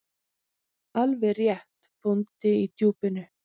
Alveg rétt: Bóndi í Djúpinu.